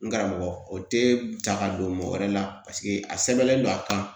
N karamɔgɔ o tɛ ta ka don mɔgɔ wɛrɛ la paseke a sɛbɛnlen don a kan